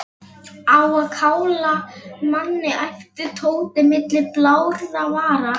Á að kála manni æpti Tóti milli blárra vara.